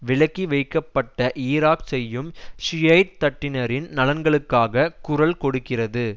விலக்கி வைக்கப்பட்ட ஈராக் செய்யும் ஷியைட் தட்டினரின் நலன்களுக்காக குரல் கொடுக்கிறது